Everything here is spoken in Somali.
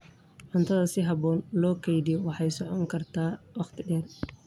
Cuntada si habboon loo kaydiyo waxay socon kartaa waqti dheer.